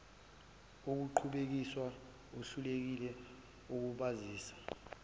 okuqhubekiswa ahlukile ukubazisa